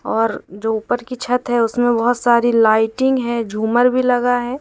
और जो ऊपर की छत है उसमें बहोत सारी लाइटिंग है झूमर भी लगा है।